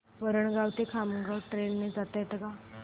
वरणगाव ते खामगाव ट्रेन ने जाता येतं का